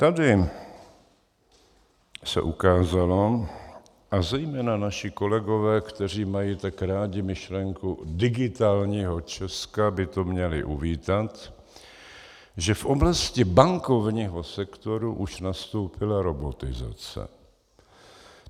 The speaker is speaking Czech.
Tady se ukázalo, a zejména naši kolegové, kteří mají tak rádi myšlenku digitálního Česka, by to měli uvítat, že v oblasti bankovního sektoru už nastoupila robotizace.